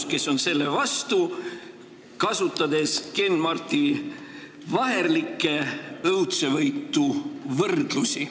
–, kes on selle vastu, kasutades kenmartivaherlikke õudsevõitu võrdlusi.